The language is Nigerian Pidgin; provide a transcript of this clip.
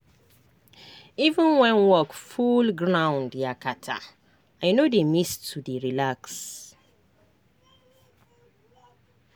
even when work full ground yakata i no dey miss to dey relax